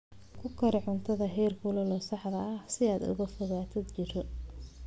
Ku kari cuntada heerkulka saxda ah si aad uga fogaato jirro.